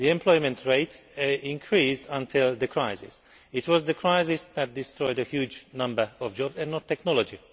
The employment rate increased until the crisis. It was the crisis that destroyed a huge number of jobs, and not technology.